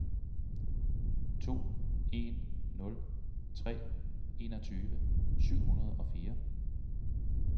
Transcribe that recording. to en nul tre enogtyve syv hundrede og fire